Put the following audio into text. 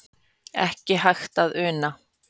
Ekki hægt að una